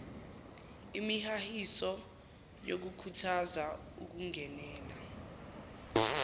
imihahiso yokukhuthaza ukungenela